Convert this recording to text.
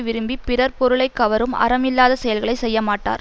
விரும்பி பிறர் பொருளை கவரும் அறம் இல்லாத செயல்களை செய்ய மாட்டார்